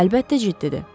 Əlbəttə, ciddidir.